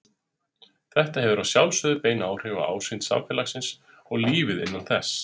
Þetta hefur að sjálfsögðu bein áhrif á ásýnd samfélagsins og lífið innan þess.